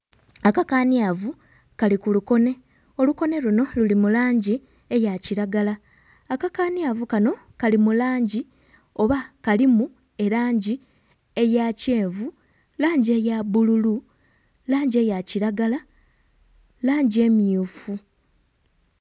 Akakanyavu kali kulukone, olukone luno luli mu langi eya kiragala akakanyavu kano kali mu langi oba kalimu erangi eya kyenvu, langi eya bbululu, langi eya kiragala, langi emmyufu.